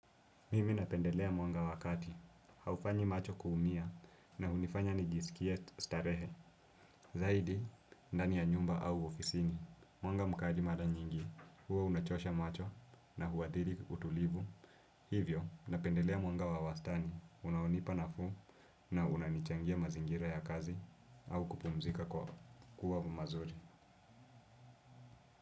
Mimi napendelea mwanga wa kati, haufanyi macho kuumia na hunifanya nijisikie starehe. Zaidi, ndani ya nyumba au ofisini, mwanga mkali mara nyingi, huwa unachosha macho na huathiiri utulivu. Hivyo, napendelea mwanga wa wastani, unaonipa nafuu na unanichangia mazingira ya kazi au kupumzika kuwa mazuri.